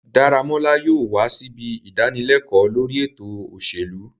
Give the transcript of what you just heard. Daramola yóò wa sibi idanileko lori eto oselu